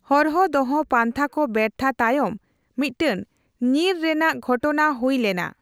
ᱦᱚᱨᱦᱚ ᱫᱚᱦᱚ ᱯᱟᱱᱛᱷᱟ ᱠᱚ ᱵᱮᱨᱛᱷᱟ ᱛᱟᱭᱚᱢ ᱢᱤᱫᱴᱟᱝ ᱧᱤᱨ ᱨᱮᱱᱟᱜ ᱜᱷᱚᱴᱱᱟ ᱦᱩᱭ ᱞᱮᱱᱟ ᱾